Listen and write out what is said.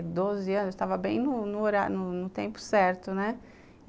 doze anos, eu estava bem no tempo certo, né?